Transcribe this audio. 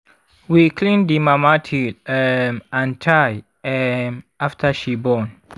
we clean the mama tail um and thigh um after she born